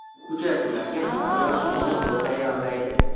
Uchrashuvlarga himoya va hujumni zo‘r tayyorlaydi.